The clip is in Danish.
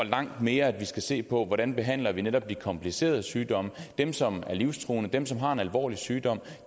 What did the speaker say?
langt mere skal se på hvordan vi behandler netop de komplicerede sygdomme dem som har en livstruende sygdom dem som har en alvorlig sygdom